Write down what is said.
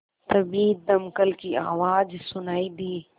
तभी दमकल की आवाज़ सुनाई दी